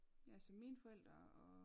Ja så mine forældre og